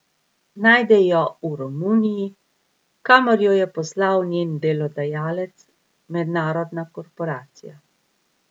Najde jo v Romuniji, kamor jo je poslal njen delodajalec, mednarodna korporacija.